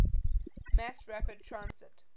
mass rapid transit